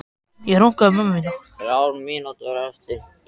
Þessi reyndist fremur lítill, en var hann þá ekki meinlaus?